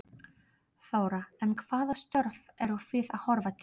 Þóra: En hvaða störf eru þið að horfa til?